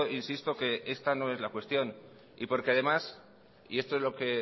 insisto que esta no es la cuestión y porque además y esto es a lo que